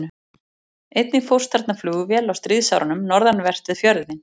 Einnig fórst þarna flugvél á stríðsárunum, norðanvert við fjörðinn.